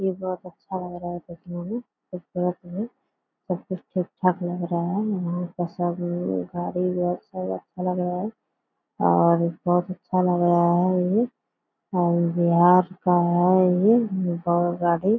ये बहुत अच्छा लग रहा है देखने में खूबसूरत भी सब कुछ ठीक-ठाक लग रहा है यहाँ का सब गाड़ी घर सब अच्छा लग रहा है और बहुत अच्छा लग रहा है ये और बिहार का है ये नेपाल गाड़ी।